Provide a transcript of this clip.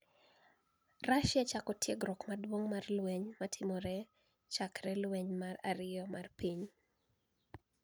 Russia chako tiegruok maduonig' mar lweniy ma ni e otimore chakre lweniy mar ariyo mar piniy